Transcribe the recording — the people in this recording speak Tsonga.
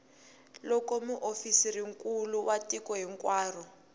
loko muofisirinkulu wa tiko hinkwaro